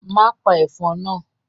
Má pa ẹ̀fọn náà.